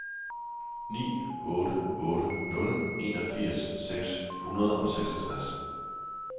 ni otte otte nul enogfirs seks hundrede og seksogtres